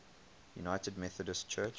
united methodist church